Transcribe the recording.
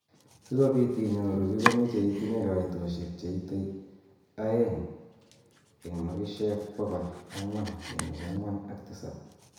Sikobit inyoru kii komeche itinye kaitoshek cheitei aeng eng makishek bokol angwan kenuch angwan ak tisab.